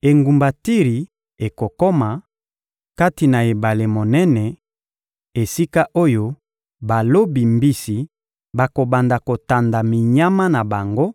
Engumba Tiri ekokoma, kati na ebale monene, esika oyo balobi mbisi bakobanda kotanda minyama na bango